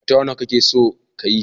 Mata nawa kake son ka yi?